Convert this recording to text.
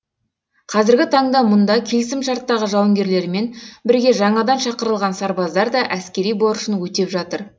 қазіргі таңда мұнда келісімшарттағы жауынгерлермен бірге жаңадан шақырылған сарбаздар да әскери борышын өтеп жатыр